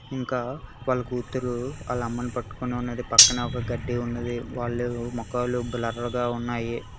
ఇంకా వాళ్ళ కూతురు వాళ్ళ అమ్మని పట్టుకుని ఉన్నది పక్కనే ఒక కడ్డీ ఉన్నది వాళ్ళు మకాలు బ్లర్ గా ఉన్నాయి.